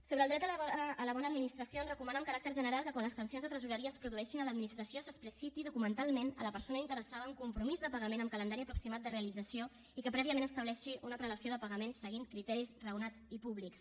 sobre el dret a la bona administració es recomana amb caràcter general que quan les tensions de tresoreria es produeixin a l’administració s’expliciti documentalment a la persona interessada un compromís de pagament amb calendari aproximat de realització i que prèviament estableixi una prelació de pagaments seguint criteris raonats i públics